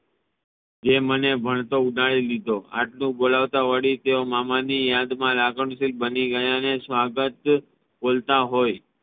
એ મને ભણતો ઉપાડી લીધો આટલુ બોલાવતા વળી તેઓ મામાની યાદ મા લગનશીલ બની ગયા ને સ્વાગત બોલતા હોઈ